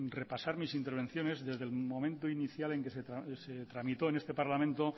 repasar mis intervenciones desde el momento inicial en que se tramitó en este parlamento